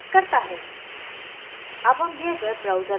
यह account activates करता है